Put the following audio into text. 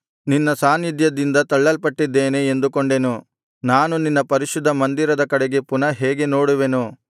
ನಿನ್ನ ಸಾನ್ನಿಧ್ಯದಿಂದ ತಳ್ಳಲ್ಪಟ್ಟಿದ್ದೇನೆ ಎಂದುಕೊಂಡೆನು ನಾನು ನಿನ್ನ ಪರಿಶುದ್ಧ ಮಂದಿರದ ಕಡೆಗೆ ಪುನಃ ಹೇಗೆ ನೋಡುವೆನು